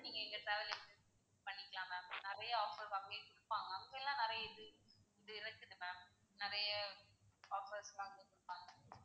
நீங்க எங்க travel agency ல book பண்ணிக்கலாம் ma'am நிறைய offers வந்து குடுப்பாங்க அப்பயெல்லாம் நிறைய இது இருந்தது ma'am நிறைய offers லாம் குடுத்தாங்க.